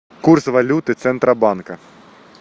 курс валюты центробанка